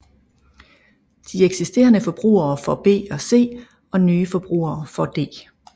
De eksisterende forbrugere får B og C og nye forbrugere får D